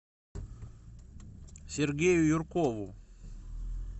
сергею юркову